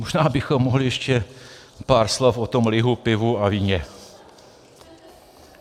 Možná bychom mohli ještě pár slov o tom lihu, pivu a víně.